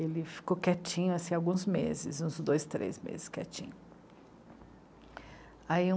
Ele ficou quietinho assim, alguns meses, uns dois, três meses quietinho. Ai